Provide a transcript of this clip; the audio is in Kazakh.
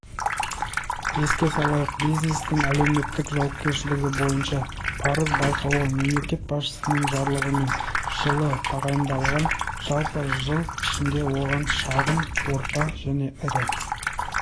еске салайық бизнестің әлеуметтік жауапкершілігі бойынша парыз байқауы мемлекет басшысының жарлығымен жылы тағайындалған жалпы жыл ішінде оған шағын орта және ірі